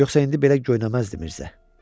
Yoxsa indi belə göynəməzdi Mirzə.